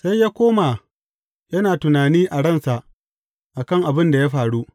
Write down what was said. Sai ya koma yana tunani a ransa, a kan abin da ya faru.